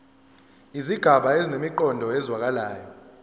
izigaba zinemiqondo ezwakalayo